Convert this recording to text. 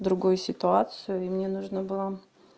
другую ситуацию и мне нужно было